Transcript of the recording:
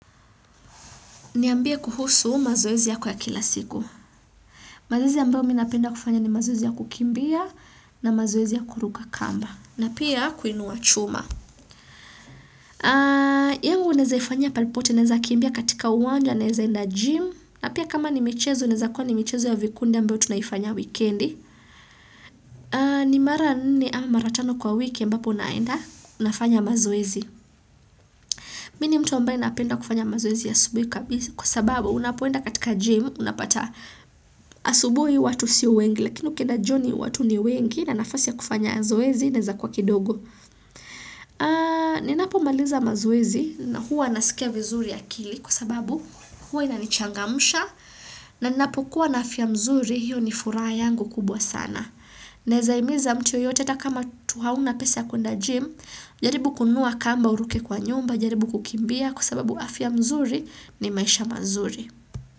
Niambia kuhusu mazoezi yako ya kila siku. Mazeezi ambao minnapenda kufanya ni mazoezi ya kukimbia na mazoezi ya kuruka kamba. Na pia kuinua chuma. Yengu unezaifanya pali pote, uneza kimbia katika uwanja, unezainda gym. Na pia kama ni michezo, uneza kwa ni michezu ya vikunde ambao tunayifanya wikendi. Ni mara nini amaratano kwa wiki, mbapo unaenda, unafanya mazoezi. Mini mtu ambaye napenda kufanya mazoezi ya asubuhi kabisi kwa sababu unapoenda katika gym unapata asubuhi watu sinwengi lakini ukieda joni watu ni wengi na nafasi ya kufanya mazoezi neza kwa kidogo. Ni napo maliza mazoezi na huwa nasikia vizuri akili kwa sababu huwa inanichangamusha na napokuwa na afya mzuri hiyo ni furaha yangu kubwa sana. Naeza himiza mtu yoyote ta kama tuhauna pesa kunda jim, jaribu kunua kamba uruke kwa nyumba, jaribu kukimbia kusababu afya mzuri ni maisha mazuri.